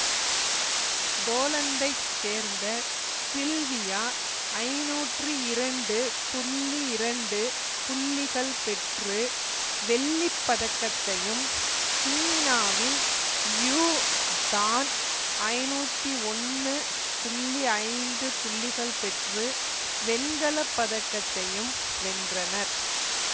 போலந்தைச் சேர்ந்த சில்வியா ஐநூற்றி இரண்டு புள்ளி இரண்டு புள்ளிகள் பெற்று வெள்ளி பதக்கத்தையும் சீனாவின் யூ டான் ஐநூத்தி ஒன்று புள்ளி ஐந்து புள்ளிகள் பெற்று வெண்கல பதக்கத்தையும் வென்றனர்